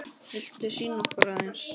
Viltu sýna okkur aðeins?